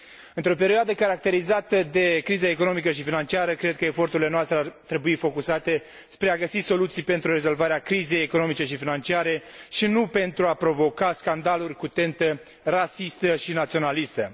Într o perioadă caracterizată de criză economică și financiară cred că eforturile noastre ar trebui concentrate spre a găsi soluții pentru rezolvarea crizei economice și financiare, și nu pentru a provoca scandaluri cu tentă rasistă și naționalistă.